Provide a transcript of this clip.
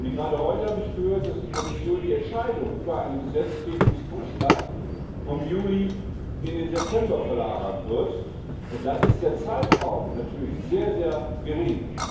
Gerade heute habe ich gehört, dass die Kommission die Entscheidung über einen Gesetzgebungsvorschlag vom Juli in den September verlagern wird, und dann ist der Zeitraum natürlich sehr gering.